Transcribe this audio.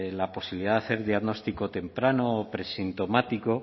la posibilidad de hacer el diagnóstico temprano o presintomático